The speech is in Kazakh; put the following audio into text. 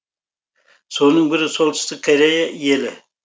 соның бірі солтүстік корея елі